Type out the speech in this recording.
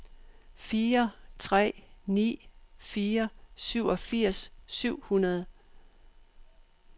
fire tre ni fire syvogfirs syv hundrede